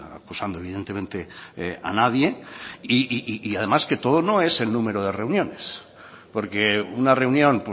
acusando evidentemente a nadie y además que todo no es el número de reuniones porque una reunión